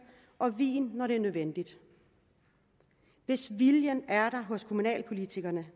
og vin når det er nødvendigt hvis viljen er hos kommunalpolitikerne